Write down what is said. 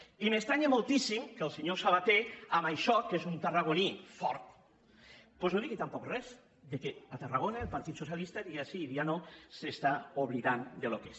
i m’estranya moltíssim que el senyor sabaté en això que és un tarragoní fort doncs no digui tampoc res que tarragona el partit socialista dia sí i dia no s’està oblidant del que és